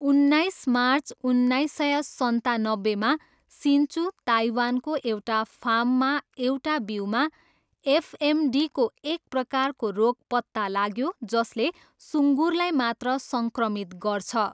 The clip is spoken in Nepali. उन्नाइस मार्च उन्नाइस सय सन्तानब्बेमा, सिन्चु, ताइवानको एउटा फार्ममा एउटा बिउमा एफएमडीको एक प्रकारको रोग पत्ता लाग्यो जसले सुङ्गुरलाई मात्र सङ्क्रमित गर्छ।